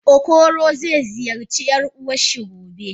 Okoro ze ziyarci yar uwanshi gobe.